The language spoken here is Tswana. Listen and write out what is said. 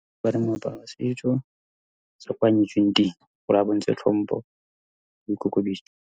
Moaparo wa setso sa ko a nyetsweng teng gore a bontshe tlhompo .